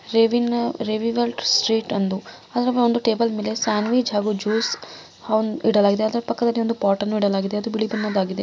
Revival street ಎಂದು ಅಲ್ಲಿ table ಮೇಲೆ ಒಂದು ಸಾಂಡ್‌ವಿಜ್‌ ಮತ್ತು ಜೂಸ್‌ ಇಡಲಾಗಿದೆ. ಅದರ ಪಕ್ಕದಲ್ಲಿ ಒಂದು ಪಾಟನ್ನು ಇಡಲಾಗಿದೆ ಅದು ಬಿಳಿ ಬಣ್ಣದ್ದು ಆಗಿದೆ.